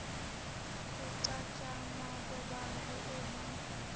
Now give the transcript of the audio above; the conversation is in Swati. kucatjangwa kwebantfu uma